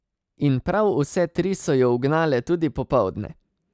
In prav vse tri so jo ugnale tudi popoldne!